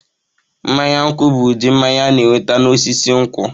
Mmanya nkwu bụ ụdị mmanya a na-enweta n'osisi nkwụ.